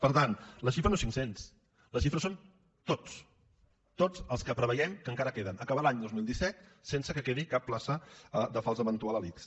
per tant la xifra no és cinc cents la xifra són tots tots els que preveiem que encara queden acabar l’any dos mil disset sense que quedi cap plaça de fals eventual a l’ics